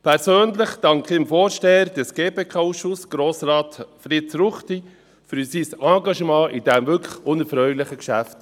Persönlich danke ich dem Vorsteher des GPK-Ausschusses, Grossrat Fritz Ruchti, für sein Engagement in diesem wirklich unerfreulichen Geschäft.